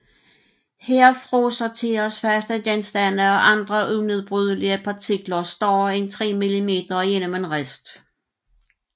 Her frasorteres faste genstande og andre unedbrydelige partikler større end 3 mm igennem en rist